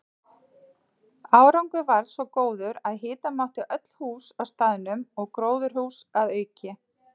Árangur varð svo góður að hita mátti öll hús á staðnum og gróðurhús að auki.